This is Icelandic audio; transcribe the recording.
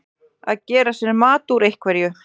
Að gera sér mat úr einhverju